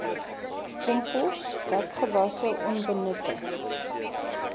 kompos dekgewasse onbenutte